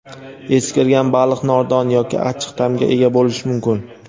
eskirgan baliq nordon yoki achchiq ta’mga ega bo‘lishi mumkin.